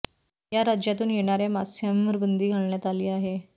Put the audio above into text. या राज्यातून येणाऱ्या मास्यांवर बंदी घालण्यात आली आहे